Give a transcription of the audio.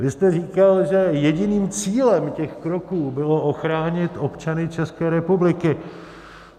Vy jste říkal, že jediným cílem těch kroků bylo ochránit občany České republiky.